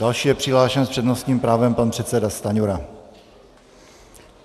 Další je přihlášen s přednostním právem pan předseda Stanjura.